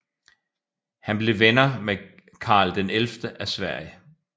Han blev venner med Karl XI af Sverige